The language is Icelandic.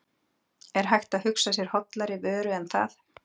Er hægt að hugsa sér hollari vöru en það?